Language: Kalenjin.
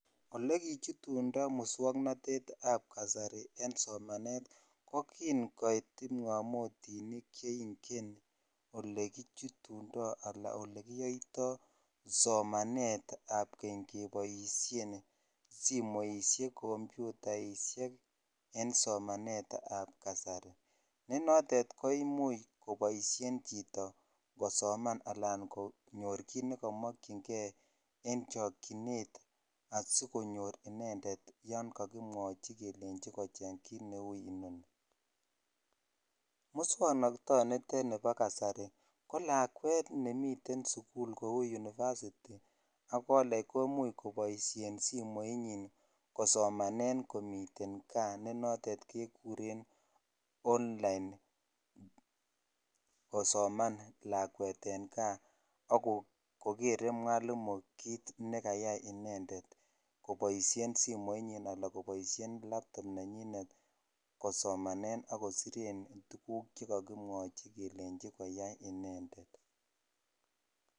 Olekichutundo muswoknatetab kasari en somanet ko kin koit kipngamotinik che ingen olekichutundo anan olekiyoitoi somanetab keny keboisien simoisiek, komputaisiek en somanetab kasari ne notet koimuch koboisien chito kosoman anan konyor kit ne kamakyinge en chokyinet asikonyor inendet yon kakimwochi kelenji kochech kit neu inoni. Muswoknatonitet nibo kasari ko lakwet nemite sugul kou unifasiti ak koleg kimuch koboisien simoinyin kosomanen komiten kaa ne notet kekuren online kosoman lakwet en kaa ak kogere mwalimu kit ne kayai inendet koboisien simoinyin anan koboisien laptop nenyinet kosomanen ak kosiren tuguk che kakimwachi kelenji koyai inendet.